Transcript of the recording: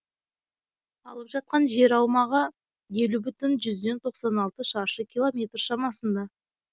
алып жатқан жер аумағы елу бүтін жүзден тоқсан алты шаршы километр шамасында